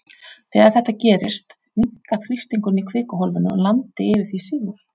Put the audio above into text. Þegar þetta gerist, minnkar þrýstingur í kvikuhólfinu og landi yfir því sígur.